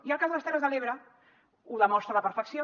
i el cas de les terres de l’ebre ho demostra a la perfecció